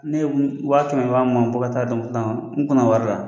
Ne ye wa kɛmɛ ni wa mugan bɔ ka taa don n kunna wari la.